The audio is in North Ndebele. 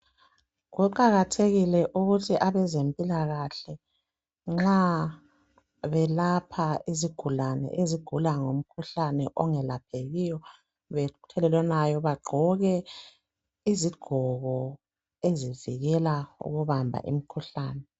Kuqakathekile ukuthi abezempilakahle nxa belapha izigulane ezigula ngomkhuhlane ongelaphekiyo othelelwanayo bagqoke izigqoko ezivikela ukubamba imikhuhlane.